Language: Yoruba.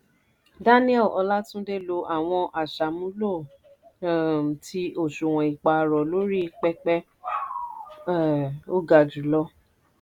daniel olatunde lò àwọn aṣàmúlò um ti òṣùwọ̀n ìpààrọ̀ lórí pẹpẹ um ó gà jùlọ.